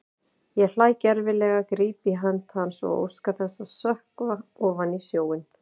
Ég hlæ gervilega, gríp í hönd hans og óska þess að sökkva ofan í sjóinn.